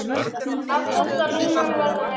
Aftasta línan verður eins.